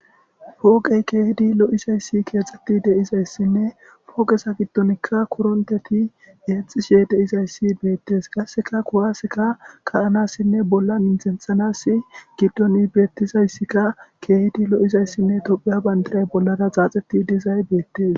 pooqey keehidi lo7izayssi keexxetti deizayssinne pooqesa giddonikka kuronteti yeexishe deizayssi beettes gasseka kowaaseka kayanassinne bolla intenxanas giddoni beettizayssikka keehidi lo7izayssinne tophiya bandiray bollara xaaxeti dizay beettes